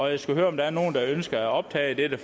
jeg skal høre om der er nogen der ønsker at optage dette